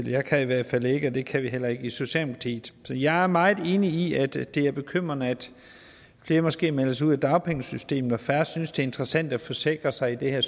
jeg kan i hvert fald ikke og det kan vi heller ikke i socialdemokratiet så jeg er meget enig i at det er bekymrende at flere måske melder sig ud af dagpengesystemet og at færre synes det er interessant at forsikre sig i det her